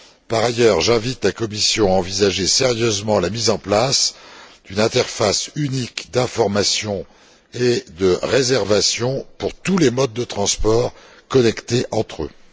Par ailleurs, j'invite la Commission à envisager sérieusement la mise en place d'une interface unique d'information et de réservation pour tous les modes de transport connectés entre eux.